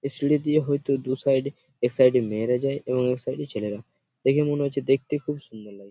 এই সিঁড়ি দিয়ে হয়তো দু সাইড এ এক সাইড -এ মেয়েরা যায় এক সাইড -এ ছেলেরা। দেখে মনে হচ্ছে দেখতে খুব সুন্দর লাগছে।